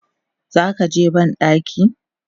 Zakaje bandaki?